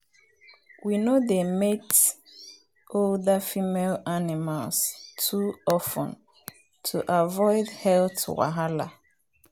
we no dey mate older female animals too of ten to avoid health wahala.